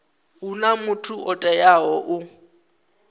huna muthu o teaho u